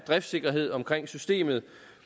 driftssikkerhed omkring systemet